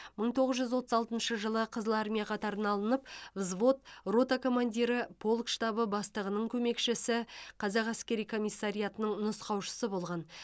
мың тоғыз жүз отыз алтыншы жылы қызыл армия қатарына алынып взвод рота командирі полк штабы бастығының көмекшісі қазақ әскери комиссариатының нұсқаушысы болған